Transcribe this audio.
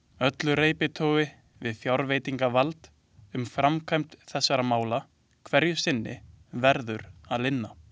Öllu reiptogi við fjárveitingavald um framkvæmd þessara mála hverju sinni verður að linna.